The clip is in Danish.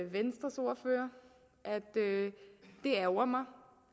det ærgrer mig